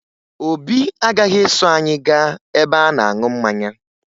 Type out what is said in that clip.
Obi agaghị eso anyị gaa ebe a na-aṅụ mmanya